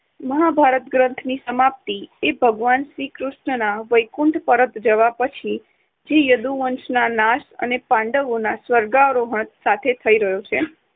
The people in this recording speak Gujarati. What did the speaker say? મહાભારત ગ્રંથની સમાપ્તિ ભગવાન શ્રી કૃષ્ણના વૈકુંઠ પરત જવા પછી થી યદુવંશના નાશ અને પાંડવોના સ્વર્ગારોહણ સાથે થઇ રહ્યો છે.